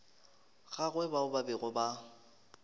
gagwe bao ba bego ba